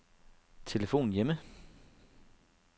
telefon hjemme